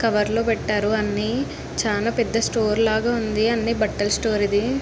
Cover లో పెట్టారు అన్ని. చానా పెద్ద స్టోర్ లాగ ఉంది . అంటే బట్టల స్టోర్ ఇది.